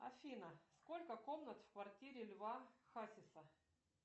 афина сколько комнат в квартире льва хасиса